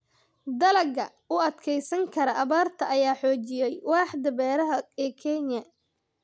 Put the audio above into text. Dalagga u adkeysan kara abaarta ayaa xoojiyey waaxda beeraha ee Kenya.